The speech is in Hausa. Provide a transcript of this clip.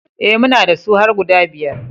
E, muna da su har guda biyar.